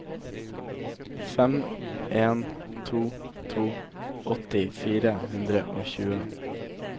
fem en to to åtti fire hundre og tjue